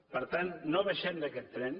per tant no baixem d’aquest tren